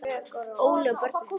Óli og börnin.